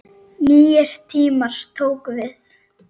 Nýir tímar tóku við.